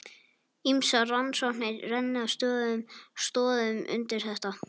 Ýmsar rannsóknir renna stoðum undir þetta.